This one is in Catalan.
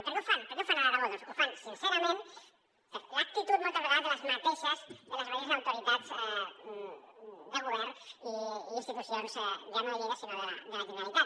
i per què ho fan per què ho fan a l’aragó doncs ho fan sincerament per l’actitud moltes vegades de les mateixes autoritats de govern i institucions ja no de lleida sinó de la generalitat